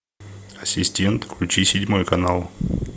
ассистент включи седьмой канал